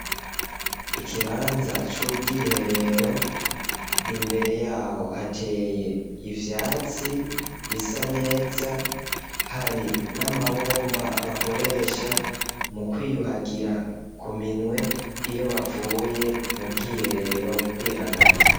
Ikibanza c'ubwiherero, imbere y'aho hateye ivyatsi, bisa neza, hari n'amabomba bakoresha mu kwiyuhagira ku minwe, iyo bavuye mu bwiherero kwihagarika.